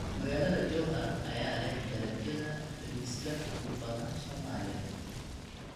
Magaalada Jowhar ayaa leh dalagyada bariiska ugu badan Soomaaliya